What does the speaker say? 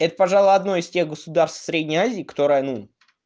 это пожалуй одной из тех государств средней азии которая ну